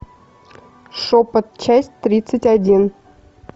шепот часть тридцать один